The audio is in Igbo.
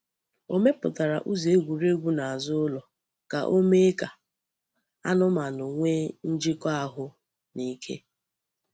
Ọ mepụtara ụzọ egwuregwu n’azụ ụlọ ka o mee ka anụmanụ nwee njikọ ahụ na ike.